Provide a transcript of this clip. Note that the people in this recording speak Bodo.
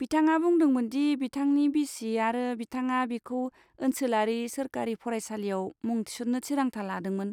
बिथाङा बुंदोंमोन दि बिथांनि बिसि आरो बिथाङा बिखौ ओनसोलारि सोरखारि फरायसालियाव मुं थिसन्नो थिरांथा लादोंमोन।